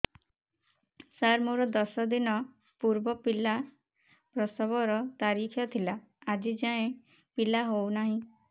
ସାର ମୋର ଦଶ ଦିନ ପୂର୍ବ ପିଲା ପ୍ରସଵ ର ତାରିଖ ଥିଲା ଆଜି ଯାଇଁ ପିଲା ହଉ ନାହିଁ